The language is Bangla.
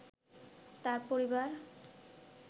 তার পরিবার